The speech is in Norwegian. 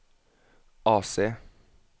AC